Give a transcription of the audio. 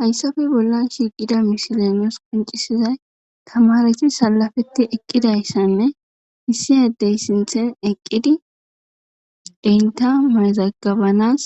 hayssafe bollan shiiqida mishilenos qoncisizay tamareti salafetti eqqidayssanne hiisiedey sinthen eqqidi biita mazagabanas